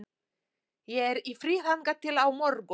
Ég er í fríi þangað til á morgun.